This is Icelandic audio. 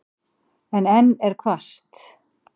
En enn er hvasst.